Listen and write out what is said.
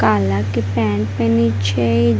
काला के पेंट पेहने छै।